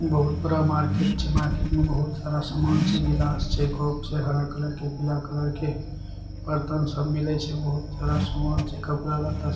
--बहुत बड़ा मर्कोट छे मार्किट में बहुत सारा सामान छे गिलास छे कप छे हरा कलर के पिला कलर के और तन सब मिले छे बहुत सारा सामान कपडा लत्ता।